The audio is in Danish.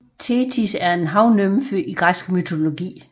Thetis er en havnymfe i græsk mytologi